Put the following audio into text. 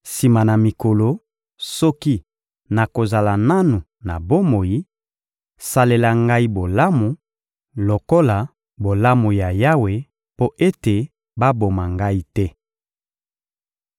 Sima na mikolo, soki nakozala nanu na bomoi, salela ngai bolamu lokola bolamu ya Yawe mpo ete baboma ngai te.